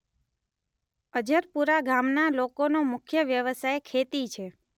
અજરપુરા ગામના લોકોનો મુખ્ય વ્યવસાય ખેતી છે.